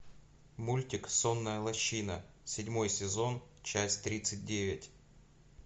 мультик сонная лощина седьмой сезон часть тридцать девять